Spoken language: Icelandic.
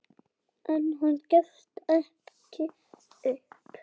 En hann gefst ekki upp.